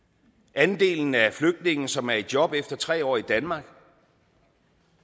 andelen af flygtninge som er i job efter tre år i danmark